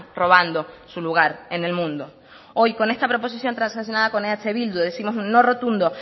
robando su lugar en el mundo hoy con esta proposición transaccionada con eh bildu décimos un no rotundo